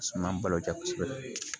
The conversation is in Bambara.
Suma balo ja kosɛbɛ